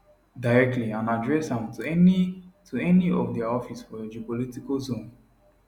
directly and address am to any to any of dia office for your geopolitical zone